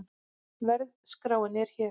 Verðskráin er hér